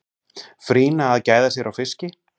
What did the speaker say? frýna að gæða sér á fiski